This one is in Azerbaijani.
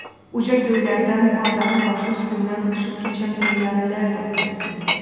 Uca göylərdən bu adanın başı üstündən uçub keçən təyyarələr də onu sezmirdilər.